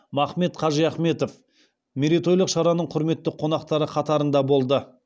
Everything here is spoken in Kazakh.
махмет қажиахметов мерейтойлық шараның құрметті қонақтары қатарында болды